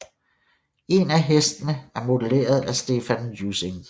En af hestene er modelleret af Stephan Ussing